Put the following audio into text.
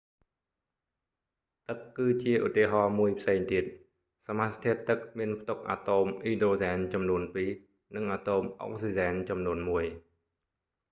ទឹកគឺជាឧទាហរណ៍មួយផ្សេងទៀត សមាសធាតុទឹកមានផ្ទុកអាតូមអ៊ីដ្រូសែនចំនួនពីរ និងអាតូមអុកស៊ីសែនចំនួនមួយ